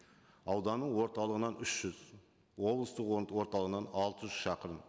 ауданның орталығынан үш жүз облыстық орталығынан алты жүз шақырым